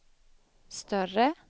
större